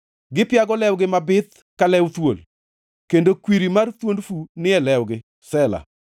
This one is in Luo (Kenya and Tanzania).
Gipiago lewgi mabith ka lew thuol kendo kwiri mar thuond fu ni e lewgi. Sela + 140:3 Sela tiend wachni ok ongʼere.